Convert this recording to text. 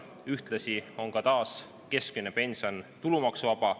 Ühtlasi on keskmine pension taas tulumaksuvaba.